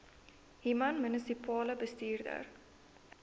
human munisipale bestuurder